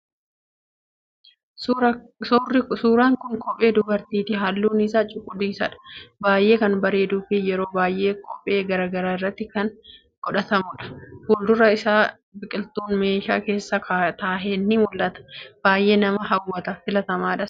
Suuran kun kophee dubartiiti, halluun isaa calaqqisaadha baayyee kan bareeduu fi yeroo baayyee qophii garagaraa irratti kan godhatamuudha. Fuldura isaa biqiltuun meeshaa keessa taahe ni mul'ataa baayyee nama hawwata filatamaadhas